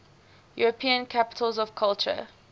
european capitals of culture